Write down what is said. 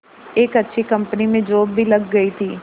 एक अच्छी कंपनी में जॉब भी लग गई थी